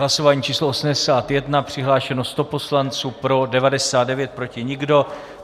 Hlasování číslo 81, přihlášeno 100 poslanců, pro 99, proti nikdo.